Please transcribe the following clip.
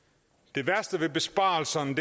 det værste ved besparelserne